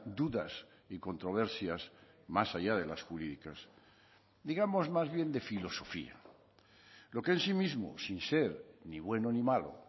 dudas y controversias más allá de las jurídicas digamos más bien de filosofía lo que en sí mismo sin ser ni bueno ni malo